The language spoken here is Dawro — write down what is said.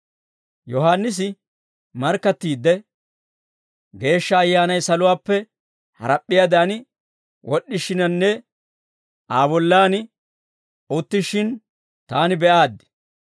Yohaannisi markkattiidde, «Geeshsha Ayyaanay saluwaappe harap'p'iyaadan wod'd'ishiinanne Aa bollan uttishshin, taani be'aaddi.